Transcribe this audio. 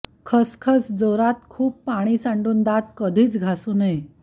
खसखस जोरात खूप पाणी सांडून दात कधीचं घासू नये